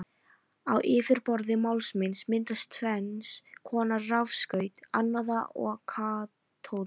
Á yfirborði málmsins myndast tvenns konar rafskaut, anóða og katóða.